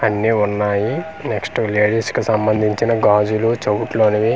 అన్ని ఉన్నాయి నెక్స్ట్ వి లేడీస్ కి సంబంధించిన గాజులు చేవుట్లోనివి అన్ని .